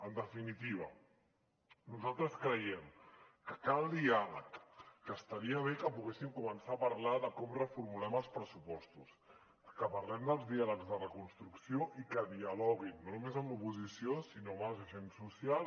en definitiva nosaltres creiem que cal diàleg que estaria bé que poguéssim començar a parlar de com reformulem els pressupostos que parlem dels diàlegs de reconstrucció i que dialoguin no només amb l’oposició sinó amb els agents socials